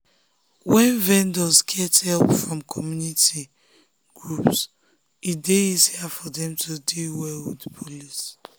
when vendors get help from community groups e dey easier for dem to deal well with police.